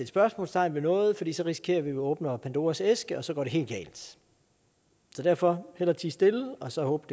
spørgsmålstegn ved noget fordi så risikerer vi åbner pandoras æske og så går det helt galt så derfor hellere tie stille og så håbe